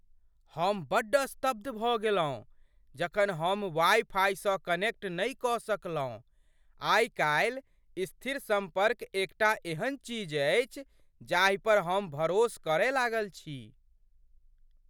हम बड्ड स्तब्ध भऽ गेलहुँ जखन हम वाइ फाइसँ कनेक्ट नहि कऽ सकलहुँ । आइ काल्हि, स्थिर सम्पर्क एकटा एहन चीज अछि जाहि पर हम भरोस करय लागल छी।